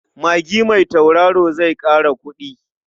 Magi mai tautaro zai ƙara kuɗi.